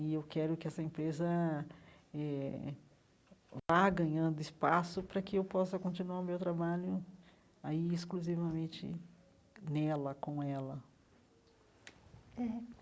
E eu quero que essa empresa eh vá ganhando espaço para que eu possa continuar o meu trabalho aí exclusivamente nela, com ela eh.